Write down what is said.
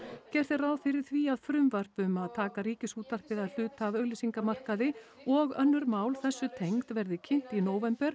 gert er ráð fyrir því frumvarp um að taka Ríkisútvarpið að hluta af auglýsingamarkaði og önnur mál þessu tengd verði kynnt í nóvember